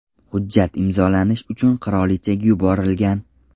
Hujjat imzolanish uchun qirolichaga yuborilgan.